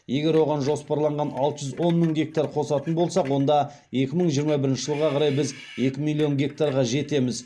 егер оған жоспарланған алты жүз он мың гектар қосатын болсақ онда екі мың жиырма бірінші жылға қарай біз екі миллион гектарға жетеміз